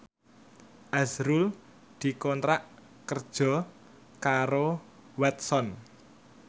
azrul dikontrak kerja karo Watson